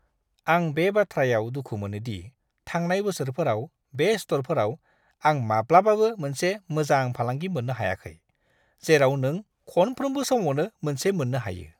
आं बे बाथ्रायाव दुखु मोनो दि थांनाय बोसोरफोराव बे स्ट'रफोराव आं माब्लाबाबो मोनसे मोजां फालांगि मोननो हायाखै, जेराव नों खनफ्रोमबो समावनो मोनसे मोननो हायो!